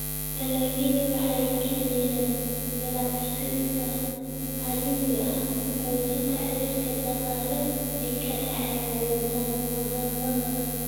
Dalagyadu waxay kiciyaan ganacsiyada caalamiga ah, xoojinta xiriirka dhaqaale ee ka dhexeeya wadamada.